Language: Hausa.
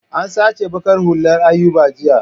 An sace baƙar hullar Ayuba jiya.